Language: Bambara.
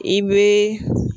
I bɛ